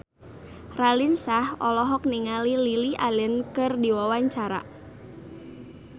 Raline Shah olohok ningali Lily Allen keur diwawancara